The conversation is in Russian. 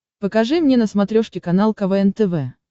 покажи мне на смотрешке канал квн тв